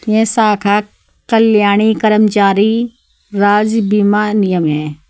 यह शाखा कल्याणी कर्मचारी राज्य बीमा नियम है।